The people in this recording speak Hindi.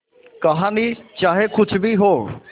कहानी चाहे कुछ भी हो